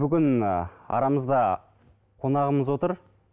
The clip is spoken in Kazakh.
бүгін ыыы арамызда қонағымыз отыр